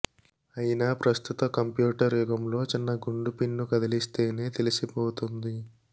అయినా ప్రస్తుత కంప్యూటర్ యుగంలో చిన్న గుండు పిన్ను కదిలిస్తేనే తెలిసిపోతుంది